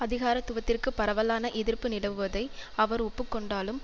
அதிகாரத்துவத்திற்கு பரவலான எதிர்ப்பு நிலவுவதை அவர் ஒப்பு கொண்டாலும்